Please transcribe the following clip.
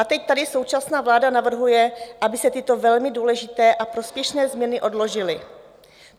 A teď tady současná vláda navrhuje, aby se tyto velmi důležité a prospěšné změny odložily.